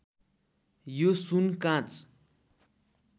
यो सुन काँच